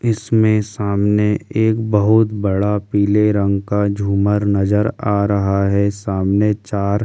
इसमें सामने एक बहुत बड़ा पीले रंग का झूमर नजर आ रहा है सामने चार खंडों में --